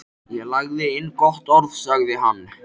Ég lagði inn gott orð, sagði hann.